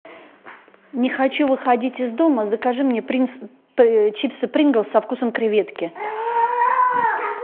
не хочу выходить из дома закажи мне чипсы принглс со вкусом креветки